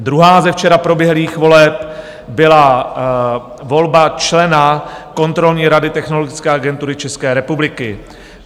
Druhá ze včera proběhlých voleb byla volba člena kontrolní rady Technologické agentury České republiky.